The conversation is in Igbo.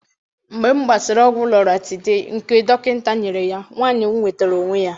Mgbe m gbasịrị ọgwụ loratiday nke dọkịta nyere ya, nwanyị m nwetara onwe ya.